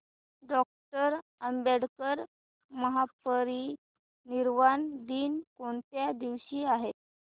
doctor Ambedkar महापरिनिर्वाण दिन कोणत्या दिवशी आहे